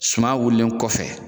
Suman wililen kɔfɛ